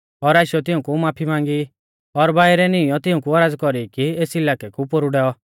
और आशीयौ तिऊंकु माफी मांगी और बाइरै नीईंयौ तिऊंकु औरज़ कौरी कि एस इलाकै कु पोरु डैऔ